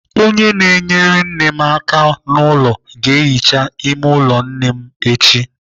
Onye na-enyere nne m aka n'ụlọ ga-ehicha ime ụlọ nne m echi.